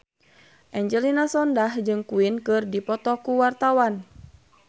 Angelina Sondakh jeung Queen keur dipoto ku wartawan